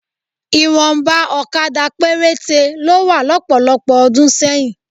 Ìwọ̀nba òkadà péréte ló wà lọ́pọ̀lọpọ̀ ọdún sẹ́yìn